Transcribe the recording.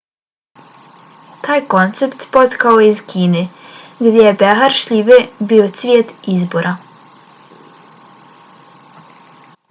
taj koncept potekao je iz kine gdje je behar šljive bio cvijet izbora